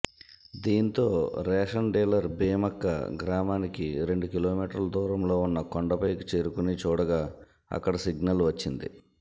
దీంతో ration dealer Bheemakka గ్రామానికి రెండు కిలోమీటర్ల దూరంలో ఉన్న కొండపైకి చేరుకుని చూడగా అక్కడ సిగ్నల్ వచ్చింది